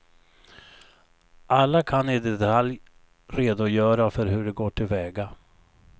Alla kan i detalj redogöra för hur de går till väga.